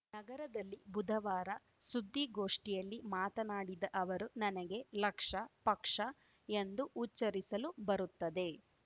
ನಗರದಲ್ಲಿ ಬುಧವಾರ ಸುದ್ದಿಗೋಷ್ಠಿಯಲ್ಲಿ ಮಾತನಾಡಿದ ಅವರು ನನಗೆ ಲಕ್ಷ ಪಕ್ಷ ಎಂದು ಉಚ್ಛರಿಸಲು ಬರುತ್ತದೆ